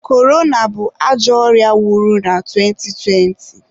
Korona bụ ajọ ọrịa wuru na afọ 2020.